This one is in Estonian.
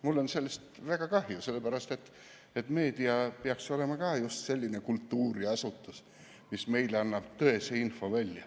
Mul on sellest väga kahju, sellepärast et ka meedia peaks olema just selline kultuuriasutus, mis annab meile tõest infot.